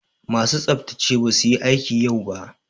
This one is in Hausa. Masu tsaftsace basu yi aiki yau ba.